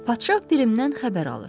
Padşah Pirimdən xəbər alır.